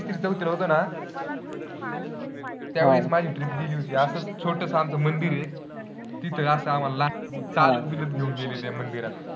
तिसरी चौथीत होतो ना त्यावेळेस माझी trip गेली होती. असंच छोटंसं आमचं मंदिर आहे तिथं असं आम्हांला चालत बिलत घेऊन गेलेले मंदिरात